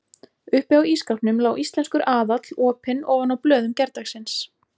Uppi á ísskápnum lá Íslenskur aðall opinn ofan á blöðum gærdagsins.